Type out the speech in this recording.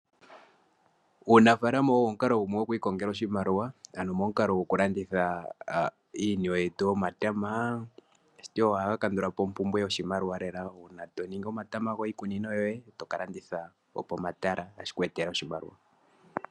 Uunafalama owo omukalo gumwe gokwikongela oshimaliwa ano momukalo gwokulanditha iiniwe yetu yomatama ohawu kandula po ompumbwe yoshimaliwa uuna to ningi omatama goye toka landitha pomatala otashi ku etele oshimaliwa .